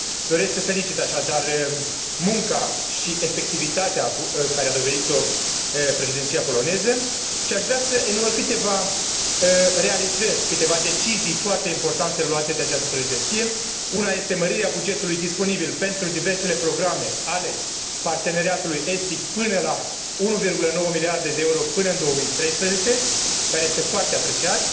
Doresc să felicit, așadar, munca și eficiența de care a dat dovadă președinția poloneză și aș vrea să enumăr câteva realizări, câteva decizii foarte importante luate de această președinție una este mărirea bugetului disponibil pentru diversele programe ale Parteneriatului estic până la 1,9 miliarde de euro până în 2013, lucru care este foarte apreciat,